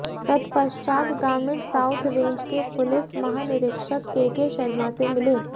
तत्पश्चात ग्रामीण south range के पुलिस महानिरीक्षक केके शर्मा से मिले